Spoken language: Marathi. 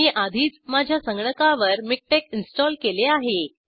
मी आधीच माझ्या संगणकावर मिकटेक्स इंस्टॉल केले आहे